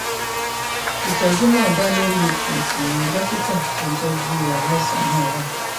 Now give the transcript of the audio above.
ìtọjú náà dá lórí ipò tí dókítà tó ń tọjú aláìsàn náà wà